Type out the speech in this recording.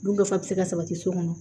Dun nafa bi se ka sabati so kɔnɔ